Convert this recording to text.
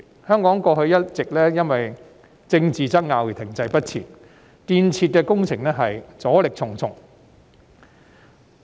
香港過去一直因為政治爭拗而停滯不前，導致建設工程阻力重重。